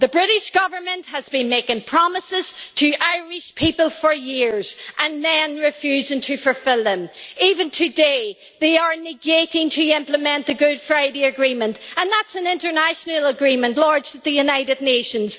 The British Government has been making promises to Irish people for years, and then refusing to fulfil them. Even today, they are negating the implementation of the Good Friday Agreement, and that is an international agreement lodged at the United Nations.